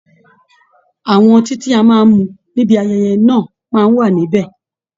Àwọn ọtí tí a máa mu níbi ayẹyẹ náà máa wà nibẹ